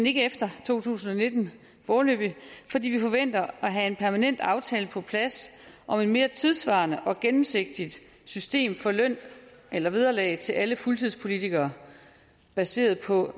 ikke efter to tusind og nitten fordi vi forventer at have en permanent aftale på plads om et mere tidssvarende og gennemsigtigt system for løn eller vederlag til alle fuldtidspolitikere baseret på